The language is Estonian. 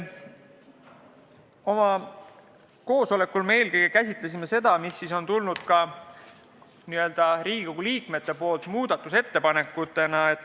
Oma koosolekul me eelkõige käsitlesime Riigikogu liikmete tehtud muudatusettepanekuid.